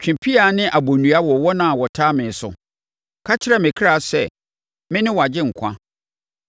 Twe pea ne abonnua wɔ wɔn a wɔtaa me so ka kyerɛ me kra sɛ, “Mene wʼagyenkwa.”